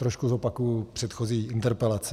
Trošku zopakuji předchozí interpelaci.